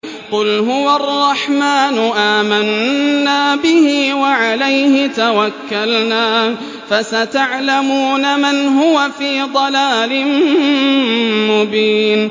قُلْ هُوَ الرَّحْمَٰنُ آمَنَّا بِهِ وَعَلَيْهِ تَوَكَّلْنَا ۖ فَسَتَعْلَمُونَ مَنْ هُوَ فِي ضَلَالٍ مُّبِينٍ